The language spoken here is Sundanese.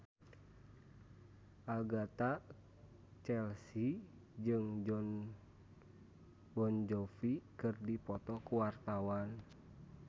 Agatha Chelsea jeung Jon Bon Jovi keur dipoto ku wartawan